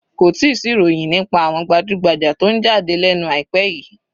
Kò tíì sí ìròyìn nípa àwọn gbajúgbajà tó ń jáde lẹ́nu àìpẹ́ yìí